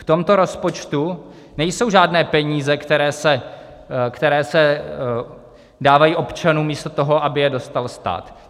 V tomto rozpočtu nejsou žádné peníze, které se dávají občanům místo toho, aby je dostal stát.